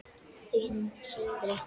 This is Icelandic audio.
Þinn, Sindri.